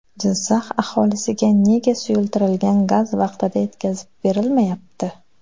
Jizzax aholisiga nega suyultirilgan gaz vaqtida yetkazib berilmayapti?